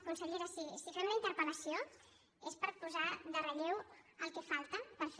consellera si fem la interpel·lació és per posar en relleu el que falta per fer